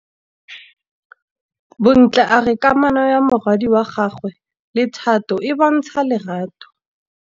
Bontle a re kamanô ya morwadi wa gagwe le Thato e bontsha lerato.